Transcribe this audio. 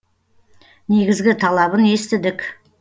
негізгі талабын естідік